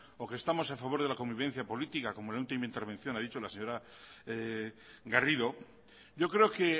o que estamos a favor de la convivencia política como en la última intervención ha dicho la señora garrido yo creo que